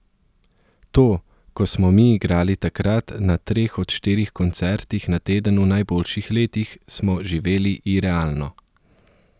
To, ko smo mi igrali takrat na treh do štirih koncertih na teden v najboljših letih, smo živeli irealno.